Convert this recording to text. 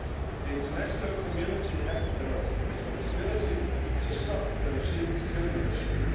The international community has a responsibility to stop the regime's killing machine.